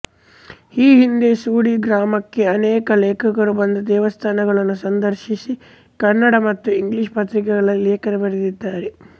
ಈ ಹಿಂದೆ ಸೂಡಿ ಗ್ರಾಮಕ್ಕೆ ಅನೇಕ ಲೇಖಕರು ಬಂದು ದೇವಸ್ಥಾನಗಳನ್ನು ಸಂದರ್ಶಿಸಿ ಕನ್ನಡ ಮತ್ತು ಇಂಗ್ಲೀಷ ಪತ್ರಿಕೆಗಳಲ್ಲಿ ಲೇಖನ ಬರೆದಿದ್ದಾರೆ